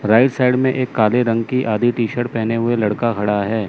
Right side में एक काले रंग की आधी टी शर्ट पेहने हुए लड़का खड़ा है।